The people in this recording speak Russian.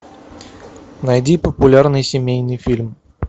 найди популярный семейный фильм